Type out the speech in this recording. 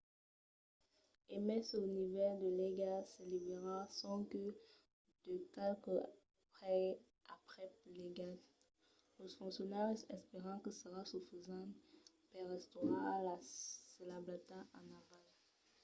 e mai se lo nivèl de l'aiga s'elevarà sonque de qualques pès aprèp l'aigat los foncionaris espèran que serà sufisent per restaurar las sablassas en aval